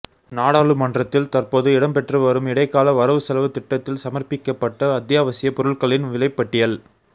நாடாளுமன்றில் தற்போது இடம்பெற்றுவரும் இடைக்கால வரவுசெலவுத் திட்டத்தில் சமர்பிக்கப்பட்ட அத்தியாவசியப் பொருள்களின் விலைப் பட்டியல்